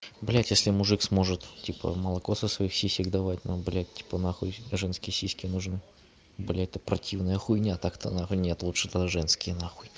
блять если мужик сможет типа молоко со своих сисек давать ну блять типа нахуй женские сиськи нужны блять это противная хуйня так-то нет лучше тогда женские нахуй